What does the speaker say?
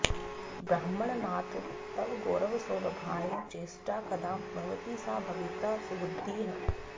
ब्रह्माण्डनाथ तव गौरवसौरभाय चेष्टा कदा भवति सा भविता सुबुद्धिः